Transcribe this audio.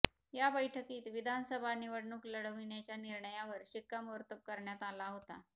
या बैठकीत विधानसभा निवडणूक लढविण्याच्या निर्णयावर शिक्कामोर्तब करण्यात आला होता